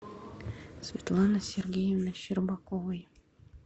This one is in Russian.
светланы сергеевны щербаковой